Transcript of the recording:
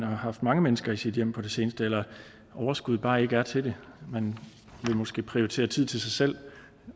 har haft mange mennesker i sit hjem på det seneste eller at overskuddet bare ikke er til det man vil måske prioritere tid til sig selv